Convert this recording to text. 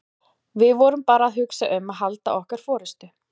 Við vorum bara að hugsa um að halda okkar forystu.